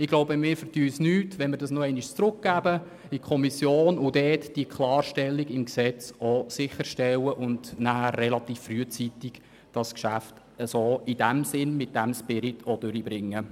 Ich glaube, wir vergeben uns nichts, wenn man das Gesetz in die Kommission zurückweist, dort die Klarstellung im Gesetz sicherstellt und das Geschäft nachher in diesem Sinn relativ rasch verabschiedet.